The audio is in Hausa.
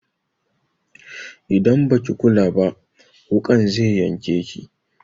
Idan baki kula ba wuƙan zai yanke ki.